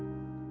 Çək.